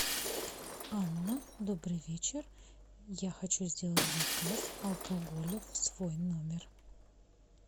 анна добрый вечер я хочу сделать заказ алкоголя в свой номер